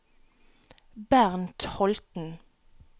Bernt Holten